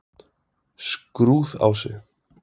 Skrúðási